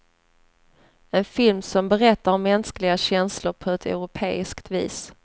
En film som berättar om mänskliga känslor på ett europeiskt vis.